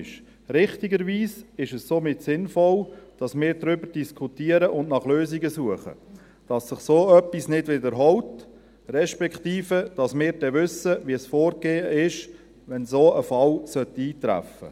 Somit ist es richtigerweise sinnvoll, dass wir darüber diskutieren und nach Lösungen suchen, damit sich dergleichen nicht wiederholt, respektive damit wir dann wissen, welches das Vorgehen ist, sollte ein solcher Fall eintreten.